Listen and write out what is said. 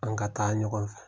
An ka taa ɲɔgɔn fɛ